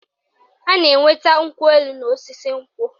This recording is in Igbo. A na-enweta nkwụ elu n'osisi nkwụ